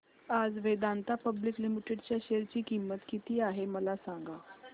आज Vedanta public limited च्या share ची किंमत किती आहे मला सांगा